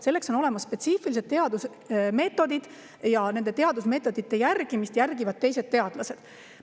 Selleks on olemas spetsiifilised teadusmeetodid ja nende teadusmeetodite järgimist jälgivad teised teadlased.